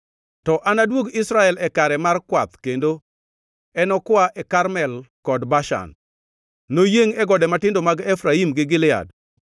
To anaduog Israel e kare mar kwath kendo enokwa e Karmel kod Bashan; noyiengʼ e gode matindo mag Efraim gi Gilead.”